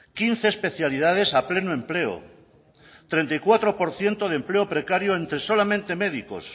quince especialidades a pleno empleo treinta y cuatro por ciento de empleo precario entre solamente médicos